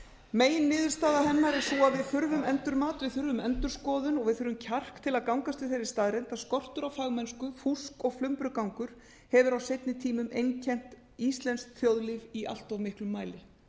meginniðurstaða hennar er sú að við þurfum endurmat við þurfum endurskoðun og við þurfum kjark til að gangast við þeirri staðreynd að skortur á fagmennsku fúsk og flumbrugangur hefur á seinni tímum einkennt íslenskt þjóðlíf í allt of miklum mæli